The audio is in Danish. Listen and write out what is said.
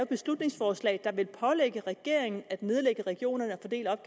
beslutningsforslag der vil pålægge regeringen at nedlægge regionerne